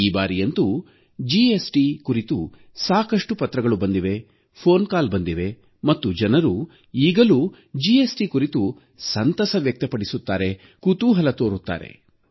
ಈ ಬಾರಿಯಂತೂ ಜಿಎಸ್ಟಿ ಕುರಿತು ಸಾಕಷ್ಟು ಪತ್ರಗಳು ಬಂದಿವೆ ದೂರವಾಣಿ ಕರೆಗಳು ಬಂದಿವೆ ಮತ್ತು ಜನರು ಈಗಲೂ ಜಿಎಸ್ಟಿ ಕುರಿತು ಸಂತಸ ವ್ಯಕ್ತಪಡಿಸುತ್ತಾರೆ ಕುತೂಹಲ ತೋರುತ್ತಾರೆ